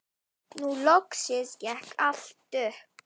Nú loksins gekk allt upp.